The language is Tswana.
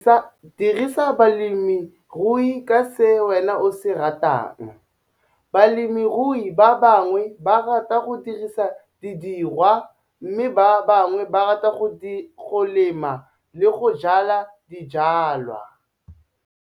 Dirisa bolemirui ka se wena o se ratang. Balemirui ba bangwe ba rata go dirisa diruiwa, mme ba bangwe ba rata go lema le go jwala dijwalwa.